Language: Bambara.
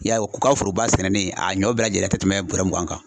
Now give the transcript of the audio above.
I y'a ye u ka foroba sɛnɛnen a ɲɔ bɛɛ lajɛlen ka tɛmɛ bɔrɔ mugan kan.